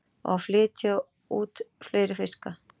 Á að flytja út fleiri fiska